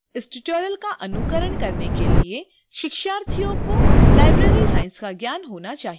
इस tutorial का अनुकरण करने के लिए शिक्षार्थी को library science का ज्ञान होना चाहिए